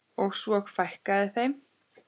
Og svo fækkaði þeim.